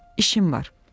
İşim var.